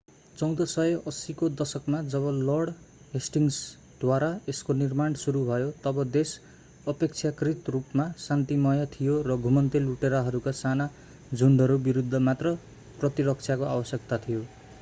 1480 को दशकमा जब लर्ड हेस्टिङ्सद्वारा यसको निर्माण सुरु भयो तब देश अपेक्षाकृत रूपमा शान्तिमय थियो र घुमन्ते लुटेराहरूका साना झुन्डहरू विरूद्ध मात्र प्रतिरक्षाको आवश्यकता थियो